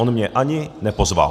On mě ani nepozval.